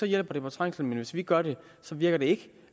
hjælper det på trængslen men hvis vi gør det så virker det ikke